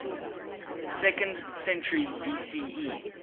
second century bce